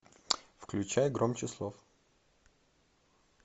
включай громче слов